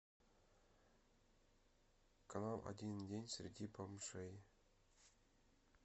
канал один день среди бомжей